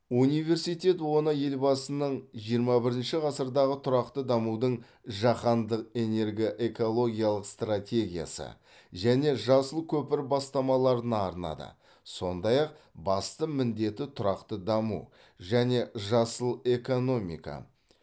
университет оны елбасының жиырма бірінші ғасырдағы тұрақты дамудың жаһандық энергоэкологиялық стратегиясы және жасыл көпір бастамаларына арнады сондай ақ басты міндеті тұрақты даму және жасыл экономика